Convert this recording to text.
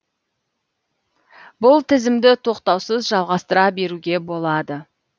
бұл тізімді тоқтаусыз жалғастыра беруге болады